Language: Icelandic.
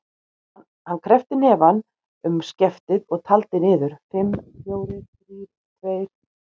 Hann kreppti hnefann um skeftið og taldi niður: fimm, fjórir, þrír, tveir.